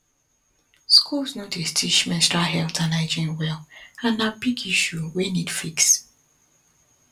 schools no dey teach menstrual health and hygiene well and na big issue wey need fix